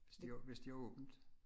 Hvis de har hvis de har åbent